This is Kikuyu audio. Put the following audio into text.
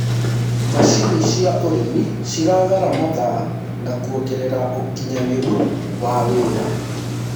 macinĩ cia ũrĩmi cirathara mathaa na kuongerera ũũkĩnyanĩru wa wira